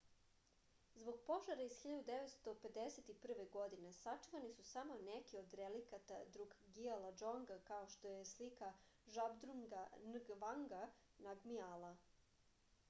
zbog požara iz 1951. godine sačuvani su samo neki od relikata drukgiala džonga kao što je slika žabdrunga ngavanga namgiala